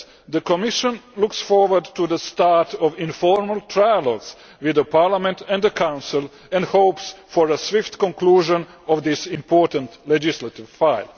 The Commission looks forward to the start of informal trilogues with Parliament and the Council, and hopes for a swift conclusion of this important legislative file.